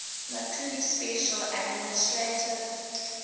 macau special administrative